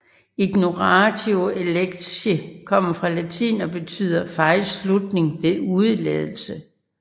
Ignoratio elenchi kommer fra latin og betyder fejlslutning ved udeladelse